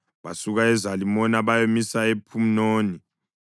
Basuka eZalimona bayamisa ePhunoni.